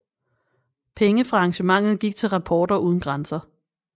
Penge fra arrangementet gik til Reporter uden grænser